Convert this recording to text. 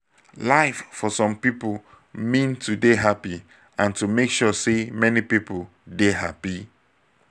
life for some pipo mean to dey happy and to make sure sey many pipo dey happy